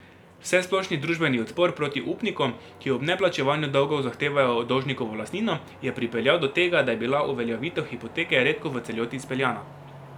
Vsesplošni družbeni odpor proti upnikom, ki ob neplačevanju dolgov zahtevajo dolžnikovo lastnino, je pripeljal do tega, da je bila uveljavitev hipoteke redko v celoti izpeljana.